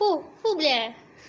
фу фу бля